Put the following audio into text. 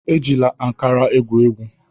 Ejila akara egwu egwu!